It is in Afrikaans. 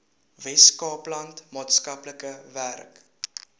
weskaapland maatskaplike werk